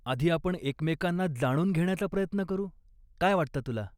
आधी आपण एकमेकांना जाणून घेण्याचा प्रयत्न करू, काय वाटतं तुला?